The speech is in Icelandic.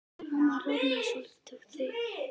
Mamma roðnaði svolítið og þau fóru.